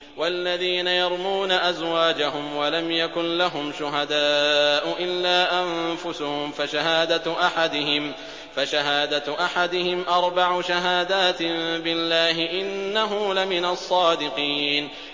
وَالَّذِينَ يَرْمُونَ أَزْوَاجَهُمْ وَلَمْ يَكُن لَّهُمْ شُهَدَاءُ إِلَّا أَنفُسُهُمْ فَشَهَادَةُ أَحَدِهِمْ أَرْبَعُ شَهَادَاتٍ بِاللَّهِ ۙ إِنَّهُ لَمِنَ الصَّادِقِينَ